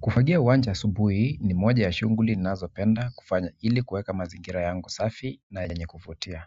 Kufagia uwanja asubuhi ni moja ya shughuli ninazopenda kufanya ili kuweka mazingira yangu safi na yenye kuvutia.